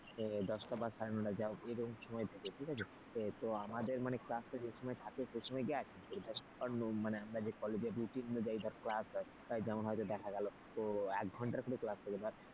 দশটা বা সাড়ে নটা যা হোক এরকম সময় থাকে, ঠিক আছে তো আমাদের মানে class টা যে সময় থাকে সেই সময় দেখ মানে আমরা যে কলেজে routine অনুযায়ী class হয়। যেমন হয় তো দেখা গেল এক ঘন্টার কোন class হলো,